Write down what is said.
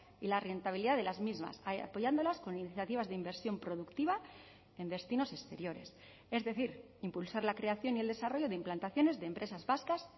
y la rentabilidad de las mismas apoyándolas con iniciativas de inversión productiva en destinos exteriores es decir impulsar la creación y el desarrollo de implantaciones de empresas vascas